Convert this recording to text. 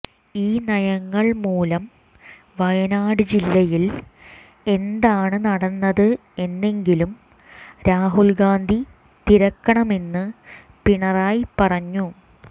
ഈ നയങ്ങൾ മൂലം വയനാട് ജില്ലയിൽ എന്താണ് നടന്നത് എന്നെങ്കിലും രാഹുൽഗാന്ധി തിരക്കണമെന്ന് പിണറായി പറഞ്ഞു